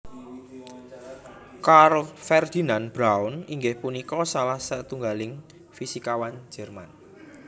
Karl Ferdinand Braun inggih punika salah satunggaling fisikawan Jerman